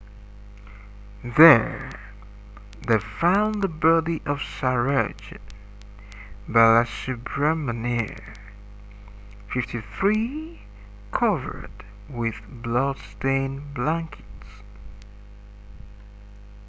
there they found the body of saroja balasubramanian 53 covered with blood-stained blankets